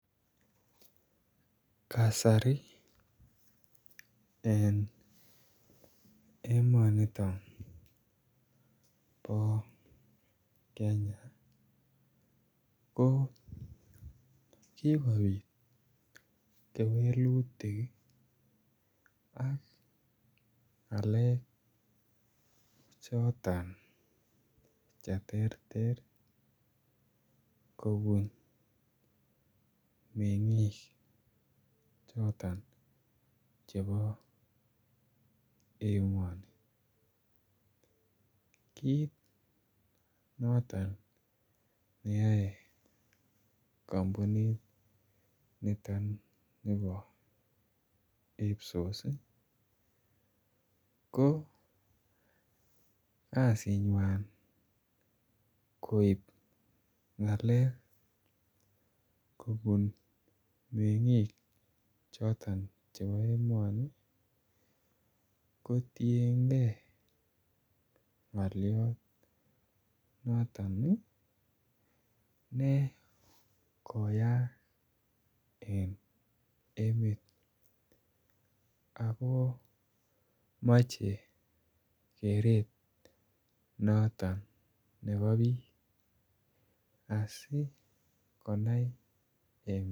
Kasari en emoniton bo Kenya ko kikopit kewelutik ii aka ngalek choton che terter kobun mengiik choton chebo emoni kit noton neyoe kompunit Niton nebo IPSOS ko kazinywan koib ngalek kobun mengiik choton chebo emoni kotiengee ngoliot noton ne koyaak en emet ako moche keret noton nebo biik asi konai emet